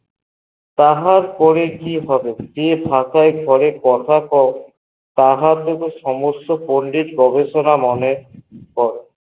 তাহার পরে কি হবে থাকায় ঘরে কথা কয় তাহার সমস্ত পণ্ডিত গবেষনা মনে হয়ে